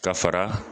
Ka fara